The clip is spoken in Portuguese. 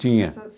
Tinha.